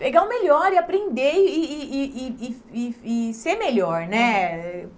Pegar o melhor e aprender e e e e e e e ser melhor né.